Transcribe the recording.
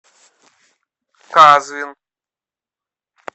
казвин